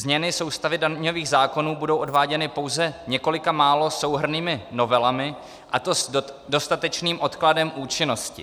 Změny soustavy daňových zákonů budou prováděny pouze několika málo souhrnnými novelami, a to s dostatečným odkladem účinnosti."